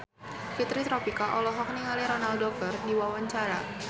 Fitri Tropika olohok ningali Ronaldo keur diwawancara